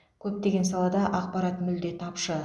көптеген салада ақпарат мүлде тапшы